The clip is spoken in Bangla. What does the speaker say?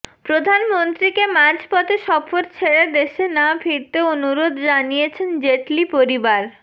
প্রধানমন্ত্রীকে মাঝপথে সফর ছেড়ে দেশে না ফিরতে অনুরোধ জানিয়েছেন জেটলি পরিবার